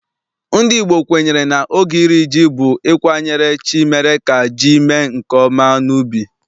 NdỊ Igbo kwenyere na oge iri ji bụ ịkwanyere chi mere ka ji mee nke ọma n'ubi.